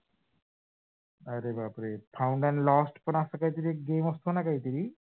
अरे बापरे found and lost पण अस काहीतरी एक game असतो ना? काहीतरी